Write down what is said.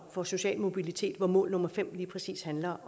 for social mobilitet hvor mål nummer fem lige præcis handler